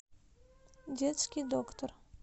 детский доктор